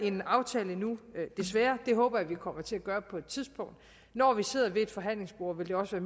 en aftale endnu desværre det håber jeg vi kommer til at gøre på et tidspunkt når vi sidder ved et forhandlingsbord vil det også